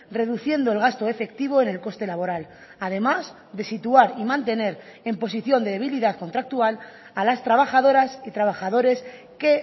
reduciendo el gasto efectivo en el coste laboral además de situar y mantener en posición de debilidad contractual a las trabajadoras y trabajadores que